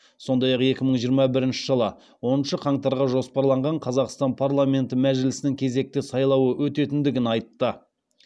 сондай ақ екі мың жиырма бірінші жылы оныншы қаңтарға жоспарланған қазақстан парламенті мәжілісінің кезекті сайлауы өтетіндігін айтты